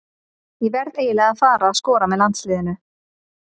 Ég verð eiginlega að fara að skora með landsliðinu.